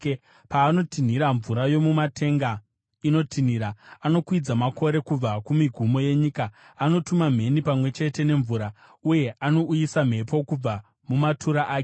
Paanotinhira, mvura yomumatenga inotinhira; anokwidza makore kubva kumigumo yenyika. Anotuma mheni pamwe chete nemvura, uye anouyisa mhepo kubva mumatura ake.